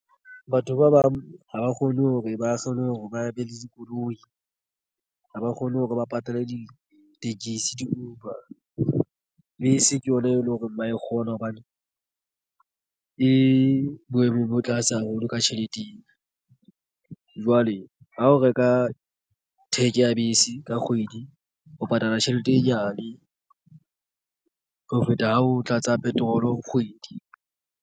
Batho ba bang ha ba kgone hore ba kgone hore ba be le dikoloi ha ba kgone hore ba patale ditekesi di-Uber bese ke yona e leng hore ba e kgona hobane e boemo bo tlase haholo ka tjheleteng jwale ha o reka theke ya bese ka kgwedi ho patala tjhelete e nyane ho feta ha o tlatsa petrol kgwedi.